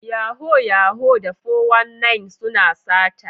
Yahoo Yahoo da 419 suna sata.